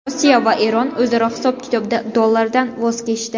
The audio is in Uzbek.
Rossiya va Eron o‘zaro hisob-kitobda dollardan voz kechdi.